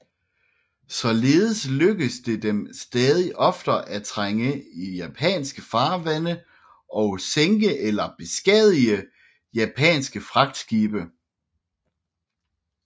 Således lykkedes det dem stadig oftere at trænge i japanske farvande og sænke eller beskadige japanske fragtskibe